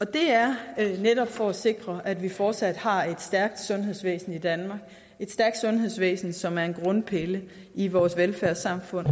det er netop for at sikre at vi fortsat har et stærkt sundhedsvæsen i danmark et stærkt sundhedsvæsen som er en grundpille i vores velfærdssamfund